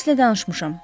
M-lə danışmışam.